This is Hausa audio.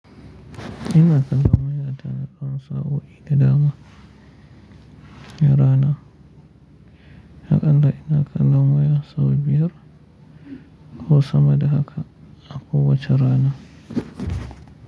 Ina kollon wayata tsawon sa'o'i da dama na rana. Hakan dai ina kallon waya sau biyar ko sama da haka, ako wacce rana.